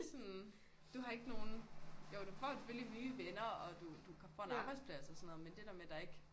Sådan du har ikke nogen jo du får selvfølgelig nye venner og du du får en arbejdsplads og sådan noget men der der med der ikke